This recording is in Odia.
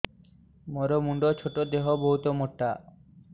ମୋର ମୁଣ୍ଡ ଛୋଟ ଦେହ ବହୁତ ମୋଟା